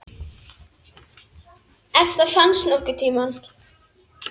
Ef það þá finnst nokkurn tímann.